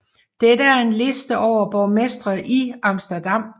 Dette er en liste over Borgmestre i Amsterdam